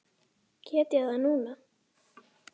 Get ég gert það núna?